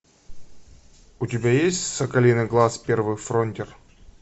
у тебя есть соколиный глаз первый фронтир